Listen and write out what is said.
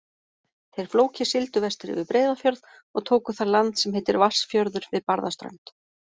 Þeir Flóki sigldu vestur yfir Breiðafjörð og tóku þar land sem heitir Vatnsfjörður við Barðaströnd.